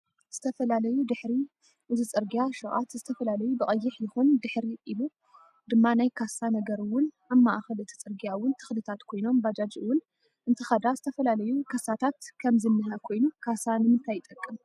ዝተፈላለዩ ድሕሪ እዚ ፅርግያ ሽቃት ዝተፈላለዩ ብቀይሕ ይኩን ድሕሪ ኢሉ ድማ ናይ ካሳ ነገር እውን ኣብ ማእከል እቲ ፅርግያ እውን ተክሊታት ኮይኖም ባጃጅ እውን እንትከዳ ዝተፈላዩ ከሳታት ከም ዝንህ ኮይኑ ካሳ ንምንታይ ይጥቅም?